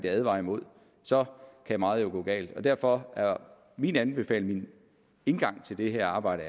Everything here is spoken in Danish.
advarer imod så kan meget jo gå galt derfor er min anbefaling min indgang til det her arbejde